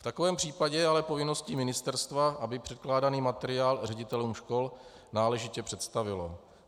V takovém případě je ale povinností ministerstva, aby předkládaný materiál ředitelům škol náležitě představilo.